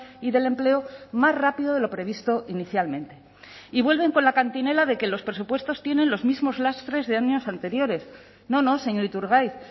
y del empleo más rápido de lo previsto inicialmente y vuelven con la cantinela de que los presupuestos tienen los mismos lastres de años anteriores no no señor iturgaiz